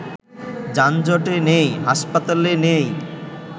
যানজটে নেই, হাসপাতালে নেই